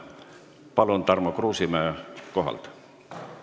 Palun, Tarmo Kruusimäe kohapealt!